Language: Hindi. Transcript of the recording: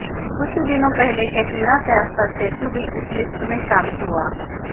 कुछ ही दिनों पहले कैटरीना कैफ का स्टेचू भी इस लिस्ट में शामिल हुआ